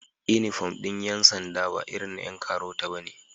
Inufom din Yan sanda ba irin na Yan karota bane